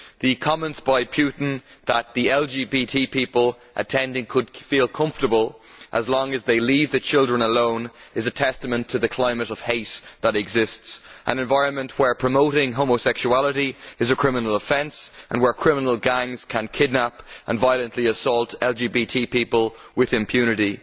The comment by Putin that lesbian, gay, bisexual and transgender people attending could feel comfortable as long as they leave the children alone are a testament to the climate of hate that exists to an environment where promoting homosexuality is a criminal offence and where criminal gangs can kidnap and violently assault LGBT people with impunity.